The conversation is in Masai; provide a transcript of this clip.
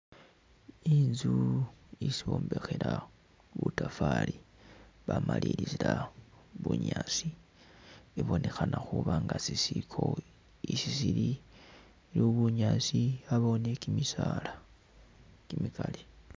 Inzu isi bombekhela butafaali, bamalilizila bunyaasi, ibonekhana khuba nga sisiko, isi sili, iliwo bunyaasi abawo ne kimisaala kimikali.